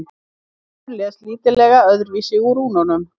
Höfundur les lítillega öðruvísi úr rúnunum.